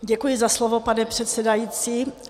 Děkuji za slovo, pane předsedající.